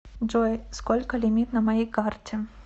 джой сколько лимит на моей карте